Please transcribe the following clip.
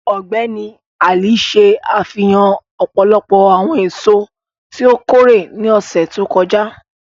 Ọgbẹni Ali ṣe afihan ọpọlọpọ awọn eso ti o kore ni ọsẹ to kọja.